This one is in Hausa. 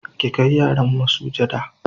ki Kai yaran masujada